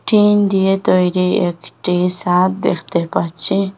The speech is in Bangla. টিন দিয়ে তৈরি একটি সাদ দেখতে পাচ্ছি।